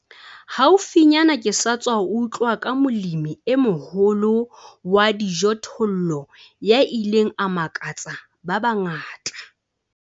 Haufinyana ke sa tswa utlwa ka molemi e moholo wa dijothollo ya ileng a makatsa ba bangata.